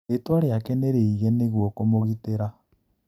Rĩtwa rĩake nĩrĩige nĩguo kũmũgitĩra.